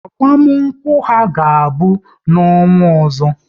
Agbamakwụkwọ ha ga-abụ n'ọnwa ọzọ